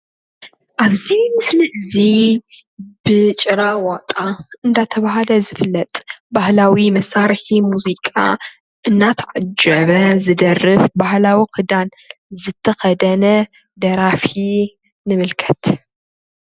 አብዚ ምስሊ እዚ ብጭራ ዋጣ እናተባሃለ ዝፍለጥ ባህላዊ መሳርሒ ሙዚቃ እናተዓጀበ ዝደርፍ ባህላዊ ክዳን ዝተኸደነ ደራፊ ንምልከት።